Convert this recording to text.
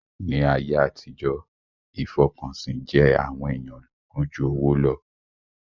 Ní ayé àtijọ́, ìfọkànsìn jẹ àwọn èèyàn lógún jú owó lọ